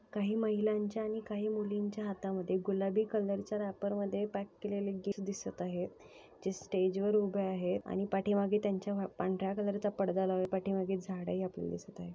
काही महिलांच्या आणि काही मुलींच्या हाता मध्ये गुलाबी कलर च्या रॅपर मध्ये पॅक केलेलं एक गिफ्ट दिसत आहेत. जे स्टेज वर उभे आहे आणि पाठीमाघे त्यांच्या अ पांढर्‍या कलर चा पडदा लावले पाठीमाघे झाड हि आपल्याला दिसत आहे.